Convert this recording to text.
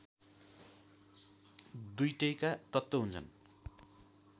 दुईटैका तत्त्व हुन्छन्